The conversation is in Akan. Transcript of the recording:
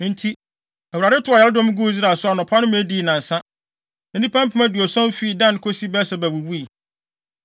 Enti Awurade tow ɔyaredɔm guu Israel so anɔpa no ma edii nnansa. Na nnipa mpem aduɔson fii Dan kosi Beer-Seba wuwui.